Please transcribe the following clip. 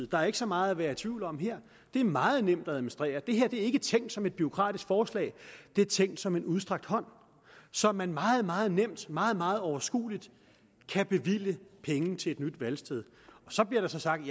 der er ikke så meget at være i tvivl om her det er meget nemt at administrere det her er ikke tænkt som et bureaukratisk forslag det er tænkt som en udstrakt hånd så man meget meget nemt og meget meget overskueligt kan bevilge penge til et nyt valgsted så bliver der sagt